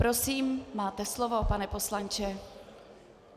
Prosím, máte slovo, pane poslanče.